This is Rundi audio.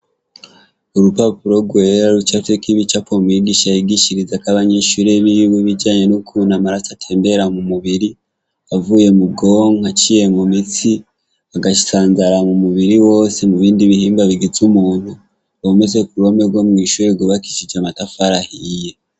Urupapuro rwera rucafyeko ibicapo umwigisha yigishirizako abanyeshure biwe ibijanye n'ukuntu amaraso atembera mu mubiri avuye mu bwonko aciye mu mitsi agasanzara mu mubiri wose mu bindi bihimba bigize umuntu bimanitse ku ruhome rwo mwishure rwubakishije amatafari ahiye.